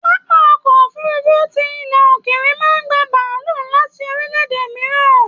Pápá ọkọ òfurùnfu tí ilẹ ókéré máa n gbà bàálù láti orílẹ̀-èdè mìíràn.